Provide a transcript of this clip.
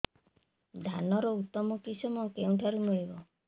ଧାନର ଉତ୍ତମ କିଶମ କେଉଁଠାରୁ ମିଳିବ